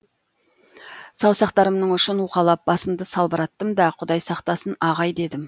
саусақтарымның ұшын уқалап басымды салбыраттым да құдай сақтасын ағай дедім